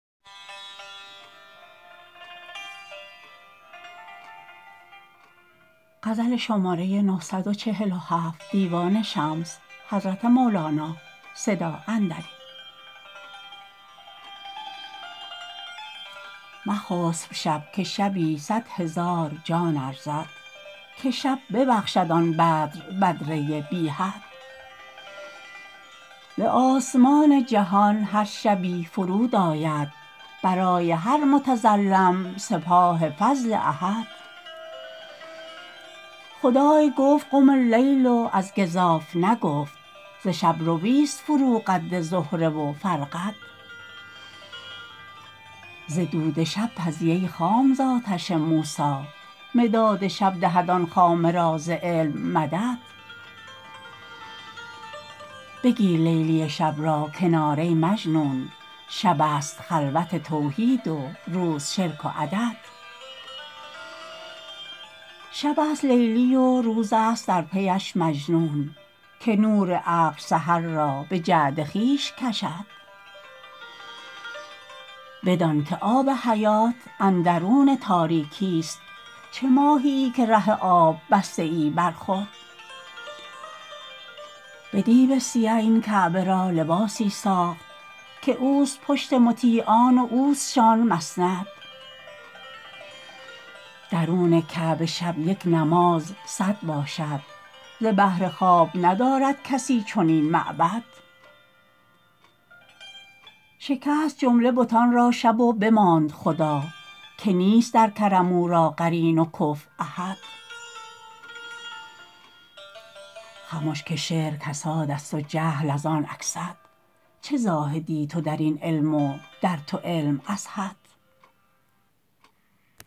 مخسب شب که شبی صد هزار جان ارزد که شب ببخشد آن بدر بدره بی حد به آسمان جهان هر شبی فرود آید برای هر متظلم سپاه فضل احد خدای گفت قم اللیل و از گزاف نگفت ز شب رویست فرو قد زهره و فرقد ز دود شب پزی ای خام ز آتش موسی مداد شب دهد آن خامه را ز علم مدد بگیر لیلی شب را کنار ای مجنون شبست خلوت توحید و روز شرک و عدد شبست لیلی و روزست در پیش مجنون که نور عقل سحر را به جعد خویش کشد بدانک آب حیات اندرون تاریکیست چه ماهیی که ره آب بسته ای بر خود به دیبه سیه این کعبه را لباسی ساخت که اوست پشت مطیعان و اوستشان مسند درون کعبه شب یک نماز صد باشد ز بهر خواب ندارد کسی چنین معبد شکست جمله بتان را شب و بماند خدا که نیست در کرم او را قرین و کفو احد خمش که شعر کسادست و جهل از آن اکسد چه زاهدی تو در این علم و در تو علم ازهد